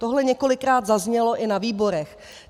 Tohle několikrát zaznělo i na výborech.